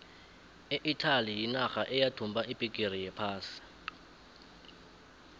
iitaly yinarha eyathumba ibhigiri yephasi